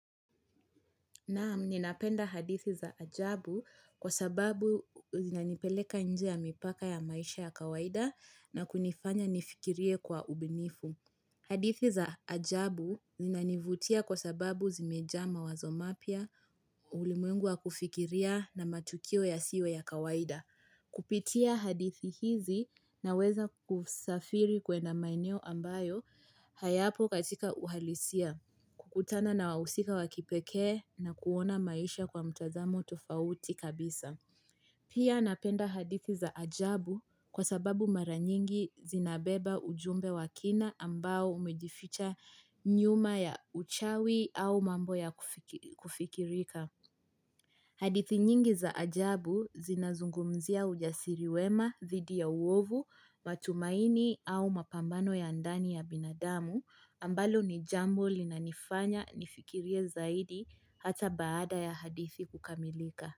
Naam, ninapenda hadithi za ajabu kwa sababu zinanipeleka nje ya mipaka ya maisha ya kawaida na kunifanya nifikirie kwa ubunifu. Hadithi za ajabu zinanivutia kwa sababu zimejaa mawazo mapya, ulimwengu wa kufikiria na matukio yasiyo ya kawaida. Kupitia hadithi hizi naweza kusafiri kwenda maeneo ambayo hayapo katika uhalisia. Kukutana na wahusika wa kipekee na kuona maisha kwa mtazamo tofauti kabisa. Pia napenda hadithi za ajabu kwa sababu mara nyingi zinabeba ujumbe wa kina ambao umejificha nyuma ya uchawi au mambo ya kufikirika. Hadithi nyingi za ajabu zinazungumzia ujasiri wema, dhidi ya uovu, matumaini au mapambano ya ndani ya binadamu ambalo ni jambo linanifanya nifikirie zaidi hata baada ya hadithi kukamilika.